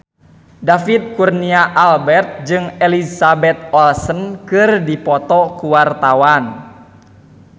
David Kurnia Albert jeung Elizabeth Olsen keur dipoto ku wartawan